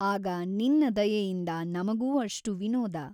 ಆಗ ನಿನ್ನ ದಯೆಯಿಂದ ನಮಗೂ ಅಷ್ಟು ವಿನೋದ.